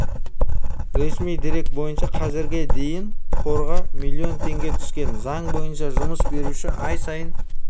ресми дерек бойынша қазірге дейін қорға миллион теңге түскен заң бойынша жұмыс беруші ай сайын